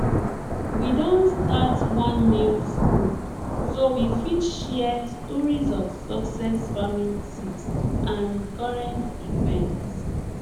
we don start one news group so we fit share stories of success farming tips and current events